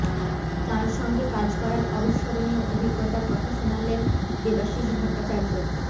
তাঁর সঙ্গে কাজ করার অবিস্মরণীয় অভিজ্ঞতার কথা শোনালেন দেবাশিস ভট্টাচার্য